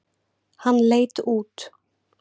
Hann leit út.